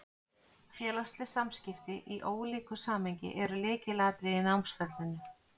Félagsleg samskipti, í ólíku samhengi, eru lykilatriði í námsferlinu.